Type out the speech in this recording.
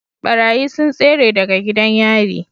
Ɓarayi sun tsere daga gidan yari